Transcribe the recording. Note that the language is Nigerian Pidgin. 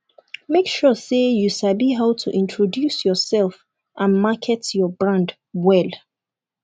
make sure say you sabi how to introduce yourself and market your brand well